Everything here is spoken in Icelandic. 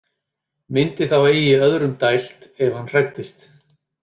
Myndi þá eigi öðrum dælt ef hann hræddist.